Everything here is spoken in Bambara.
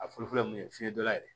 A fɔlɔ fɔlɔ mun ye fiɲɛ dɔ yɛrɛ ye